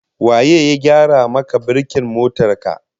Waye ya gyara maka birkin motar ka?